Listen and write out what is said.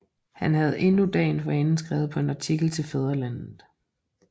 Han havde endnu dagen forinden skrevet på en artikel til Fædrelandet